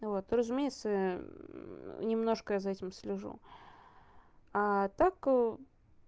вот разумеется немножко я за этим слежу а так